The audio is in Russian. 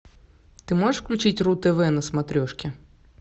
ты можешь включить ру тв на смотрешке